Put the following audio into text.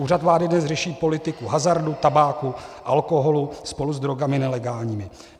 Úřad vlády dnes řeší politiku hazardu, tabáku, alkoholu spolu s drogami nelegálními.